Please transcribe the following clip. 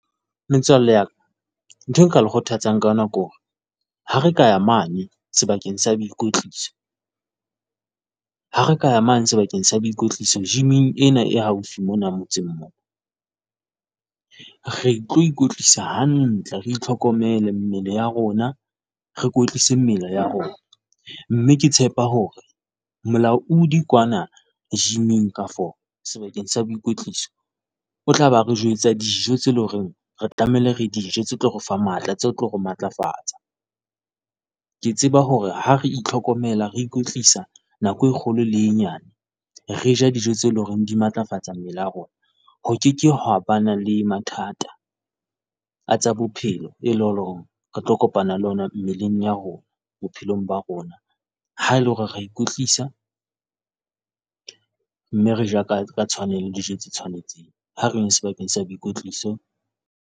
Metswalle wa ka, ntho eo nka le kgothatsang ka yona ke hore ha re ka ya mane sebakeng sa boikwetliso, ha re ka ya mane sebakeng sa boikwetliso gym-ng ena e haufi mona motseng, re tlo ikwetlisa hantle, re itlhokomele mmele ya rona re kwetlise mmele ya rona. Mme ke tshepa hore molaudi kwana gym-eng kafo sebakeng sa boikwetliso, o tla ba re jwetsa dijo tseo e leng hore re tlamehile re di je tse tlo re fa matla tse tlo re matlafatsa. Ke tseba hore ha re itlhokomela re ikwetlisa nako e kgolo le e nyane, re ja dijo tseo e leng hore di matlafatsa mmele a rona, ho ke ke haeba le mathata a tsa bophelo, eo e leng hore re tlo kopana le ona mmeleng ya rona, bophelong ba rona, ha e le hore re a ikwetlisa mme re ja ka tshwanelo le dijo tse tshwanetseng. Ha re yeng sebakeng sa boikwetliso.